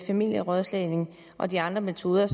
familierådslagning og de andre metoder